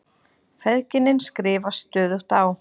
Feðginin skrifast stöðugt á.